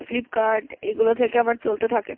flipkart এগুলো থেকে আমার চলতে থাকে